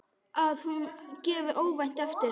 Að hún gefi óvænt eftir.